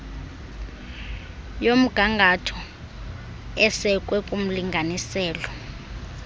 yomgangatho esekwe kumlinganiselo